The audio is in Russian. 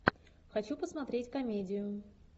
хочу посмотреть комедию